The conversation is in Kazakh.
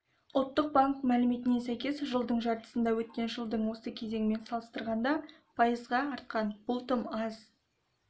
ұлттық банк мәліметіне сәйкес жылдың жартысында өткен жылдың осы кезеңімен салыстырғанда пайызға артқан бұл тым аз